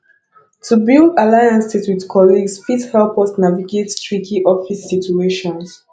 to build alliances with colleagues fit help us navigate tricky office situations